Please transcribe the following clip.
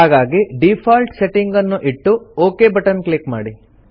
ಹಾಗಾಗಿ default setting ಅನ್ನು ಇಟ್ಟು ಒಕ್ ಬಟನ್ ಕ್ಲಿಕ್ ಮಾಡಿ